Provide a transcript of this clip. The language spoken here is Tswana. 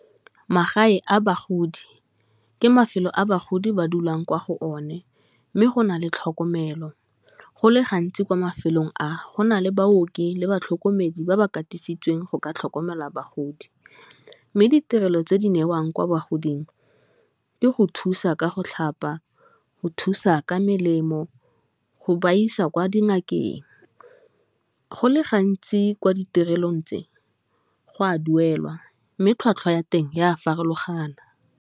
Magae a bagodi ke mafelo a bagodi ba dulang kwa go o ne, mme go na le tlhokomelo, go le gantsi kwa mafelong a go na le baoki le batlhokomedi ba ba katisitsweng go ka tlhokomela bagodi, mme ditirelo tse di newang kwa bogodimo ke go thusa ka go tlhapa, go thusa ka melemo, go ba isa kwa dingakeng, go le gantsi ko ditirelong tse go a duelwa mme tlhwatlhwa ya teng ya a farologana.